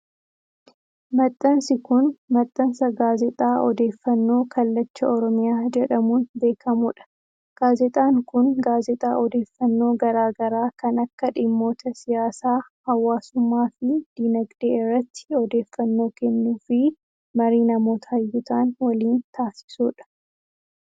Maxxansi kun, maxxansa gaazexaa odeeffannoo Kallacha Oromiyaa jedhamuun beekamuu dha. Gaazexaan kun, gaazexaa odeeffannoo garaa garaa kan akka dhimmoota:siyaasaa, hawaasummaa fi diinagdee irratti odeeffannoo kennu fi marii namoota hayyuu ta'an waliin taasisuu dha.